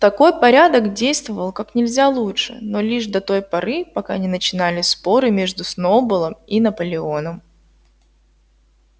такой порядок действовал как нельзя лучше но лишь до той поры пока не начинались споры между сноуболлом и наполеоном